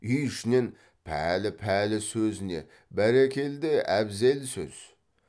үй ішінен пәлі пәлі сөзіне бәрекелде әбзел сөз